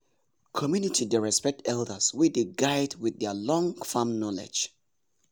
community dey respect elders wey dey guide with their long farm knowledge.